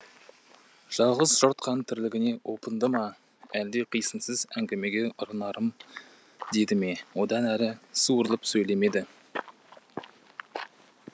жалғыз жортқан тірлігіне опынды ма әлде қисынсыз әңгімеге ұрынармын деді ме одан әрі суырылып сөйлемеді